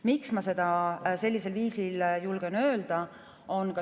Miks ma seda sellisel viisil julgen öelda?